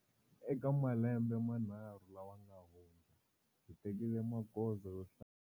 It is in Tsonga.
Eka malembe manharhu lawa nga hundza, hi tekile magoza yo hlaya.